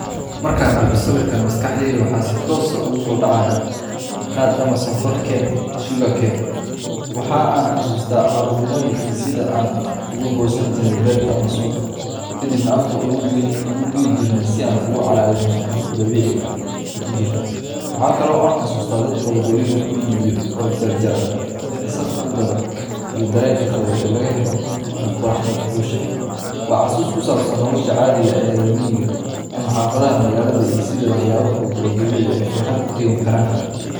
Markaan arko sawirkan, maskaxdayda waxa si toos ah ugu soo dhacaya qaad ama sonkorkaneka, sugarcane. Waxa aan xasuustaa carruurnimadii iyo sida aan uga goosan jirnay beerta ama suuqa, ka dibna afka u dhigi jirnay si aan u calaalino sonkorta dabiiciga ah ee ku jirta. Waxa kale oo aan xasuustaa dadka waddooyinka ku iibiya oo jarjaran, dadka safka u gala, iyo dareenka qabow ee laga helo marka qorraxda kulushahay. Waa xasuus ku saabsan nolosha caadiga ah ee reer miyiga ama xaafadaha magaalada, iyo sida waxyaabo fudud oo dabiici ah ay farxad u keeni karaan.